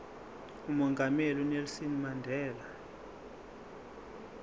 umongameli unelson mandela